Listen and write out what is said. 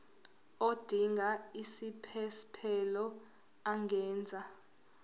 odinga isiphesphelo angenza